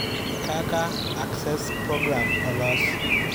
Kaka Access Program Olos.